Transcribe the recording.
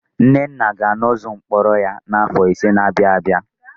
Nnenna ga-anọzu mkpọrọ ya n'afọ ise na-abịa abịa.